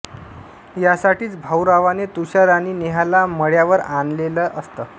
यासाठीच भाऊरावाने तुषार आणि नेहाला मळ्यावर आणलेलं असतं